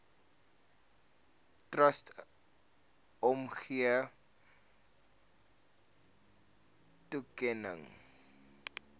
trust omgee toekenning